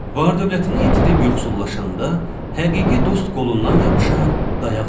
Var-dövlətini itirib yoxsullaşanda, həqiqi dost qolundan yapışar, dayaq olar.